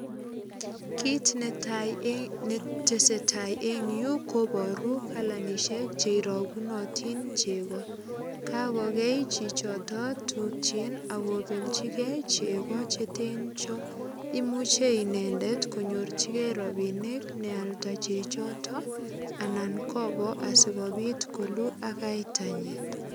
Kit netai netesetai en yu koboru kalanisiek cheirogunotin chego kakogei chichoton tukjik ak kobeljigee chego chetenjon imuche inendet konyorjigee robinik nealda chechoto anan koboo asikobit koluu ak kaitanyin.